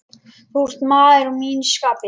Þú ert maður að mínu skapi.